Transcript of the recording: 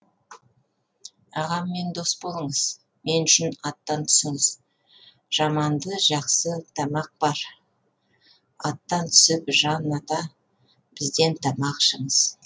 ағаммен дос болыңыз мен үшін аттан түсіңіз жаманды жақсы тамақ бар аттан түсіп жан ата бізден тамақ ішіңіз